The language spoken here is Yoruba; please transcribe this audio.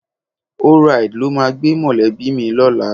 ORide ló máa wá gbé mọ̀lẹ́bí mi lọ́la.